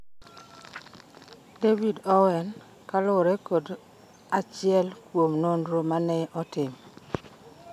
David Owen, kaluwore kod achiel kuom nonro mane otim.